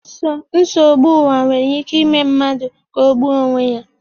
Nsogbu ụwa nwere ike ime mmadụ ka o gbuo onwe ya